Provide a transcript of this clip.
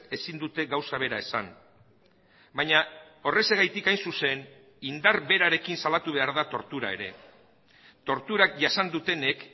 ezin dute gauza bera esan baina horrexegatik hain zuzen indar berarekin salatu behar da tortura ere torturak jasan dutenek